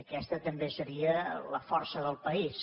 aquesta també seria la força del país